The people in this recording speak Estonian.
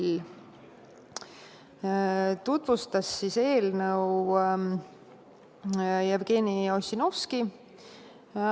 Algatajate poolt tutvustas eelnõu Jevgeni Ossinovski.